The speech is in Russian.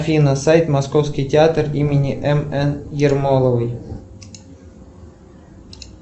афина сайт московский театр имени эм эн ермоловой